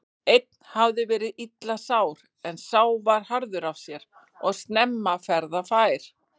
Einn hafði verið illa sár en sá var harður af sér og snemma ferðafær.